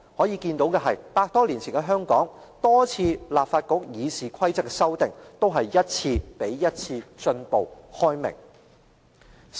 由此可見，百多年前的香港，立法局對議事規則多次的修訂，均是一次較一次進步、開明。